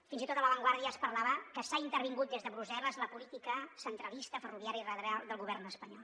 fins i tot a la vanguardia es parlava que s’ha intervingut des de brussel·les la política centralista ferroviària radial del govern espanyol